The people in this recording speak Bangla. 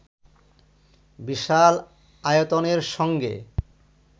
বিশাল আয়তনের সঙ্গে